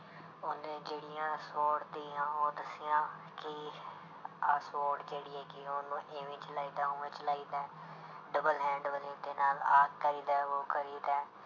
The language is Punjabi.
ਉਹਨੇ ਜਿਹੜੀਆਂ sword ਦੀਆਂ ਉਹ ਦੱਸੀਆਂ ਕਿ ਆਹ sword ਜਿਹੜੀ ਹੈਗੀ ਉਹਨੂੰ ਇਵੇਂ ਚਲਾਈਦਾ, ਉਵੇਂ ਚਲਾਈਦਾ ਹੈ double hand ਵਾਲੀ ਦੇ ਨਾਲ ਆਹ ਕਰੀਦਾ ਹੈ ਉਹ ਕਰੀਦਾ ਹੈ।